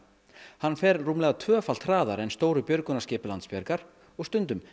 hann er rúmlega tvöfalt hraðari en stóru björgunarskip Landsbjargar og stundum